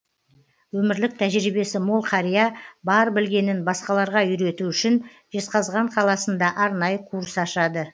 өмірлік тәжірибесі мол қария бар білгенін басқаларға үйрету үшін жезқазған қаласында арнайы курс ашады